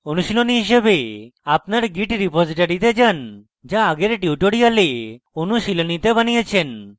অনুশীলনী হিসেবে আপনার git রীপোসিটরীতে যান go আগের tutorial অনুশীলনীতে বানিয়েছেন